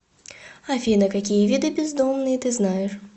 афина какие виды бездомные ты знаешь